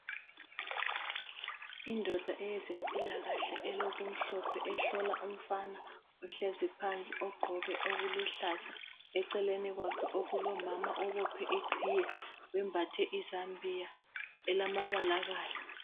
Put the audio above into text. Indoda eyezempilakahle ,elokumhlophe ,ehlola umfana ohlezi phansi ogqoke okuluhlaza eceleni kwakhe kulomama ibophe iqhiye wembathe izambiya elamabalabala.